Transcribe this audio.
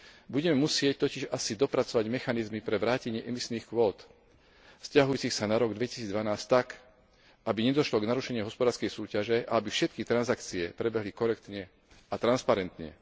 Budeme musieť totiž asi dopracovať mechanizmy pre vrátenie emisných kvót vzťahujúcich sa na rok 2012 tak, aby nedošlo k narušeniu hospodárskej súťaže a aby všetky transakcie prebehli korektne a transparentne.